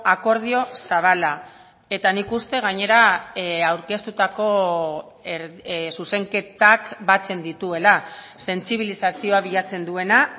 akordio zabala eta nik uste gainera aurkeztutako zuzenketak batzen dituela sentsibilizazioa bilatzen duena